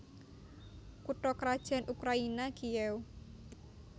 Kutha krajan Ukraina Kiyéw